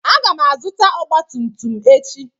Aga m azụta ọgba tum tum echi.